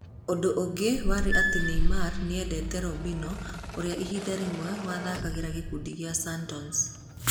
Ũndũ ũngĩ warĩ atĩ Neymar nĩ endete Robinho ũrĩa ihinda rĩmwe wathaakagĩra gĩkundi kĩa Santos.